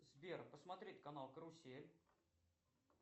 сбер посмотреть канал карусель